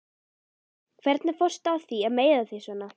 Hvernig fórstu að því að meiða þig svona?